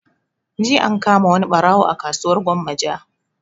Jiya an kama wani ɓarawo a kasuwar gwammaja